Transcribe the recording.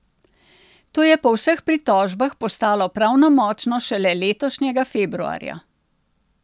To je po vseh pritožbah postalo pravnomočno šele letošnjega februarja.